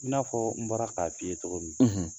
I n'a fɔ n bɔra k'a f'i ye cɔgɔ min